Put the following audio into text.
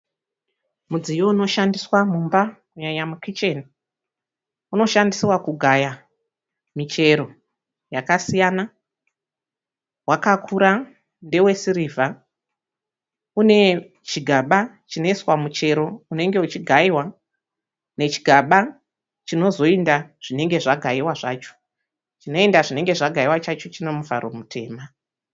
Mudziyo unoshandisiwa mumba kunyanya mukicheni. Unoshandisiwa kugaya michero yakasiyana. Wakakura ndewe sirivha une chigaba chinoiswa muchero unenge uchigaiwa nechigaba chinozoenda zvinenge zvagaiwa zvacho. Zvinoenda zvinenge zvagaiwa zvacho chine muvharo mutema.